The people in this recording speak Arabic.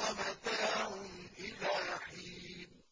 وَمَتَاعٌ إِلَىٰ حِينٍ